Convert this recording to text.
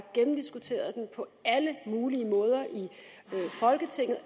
gennemdiskuteret den på alle mulige måder i folketinget og